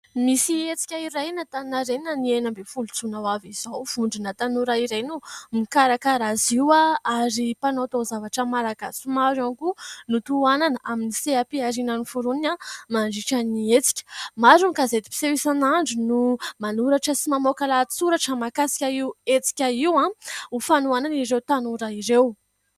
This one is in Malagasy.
Misy hetsika iray eny Antaninarena ny enina ambin'ny folo jona ho avy izao. Vondrona tanora iray no mikarakara azy io ary mpanao taozavatra malagasy maro ihany koa no tohanana amin'ny seha-pihariana noforonony mandritra ny hetsika. Maro ny gazety mpiseho isan'andro no manoratra sy mamoaka lahatsoratra mahakasika io hetsika io ho fanohanana ireo tanora ireo.